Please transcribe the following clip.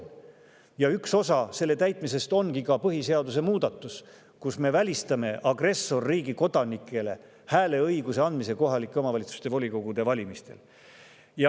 Üks osa selle täitmisest ongi põhiseaduse muudatus, millega me välistame agressorriigi kodanikele hääleõiguse andmise kohalike omavalitsuste volikogude valimistel.